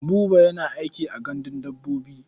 Buba yana aiki a gandun dabbobi.